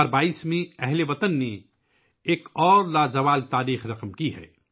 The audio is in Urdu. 2022 ء میں اہل وطن نے ایک اور لازوال تاریخ لکھی ہے